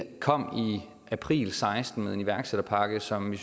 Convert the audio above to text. april seksten med en iværksætterpakke som vi